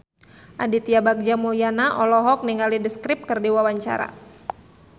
Aditya Bagja Mulyana olohok ningali The Script keur diwawancara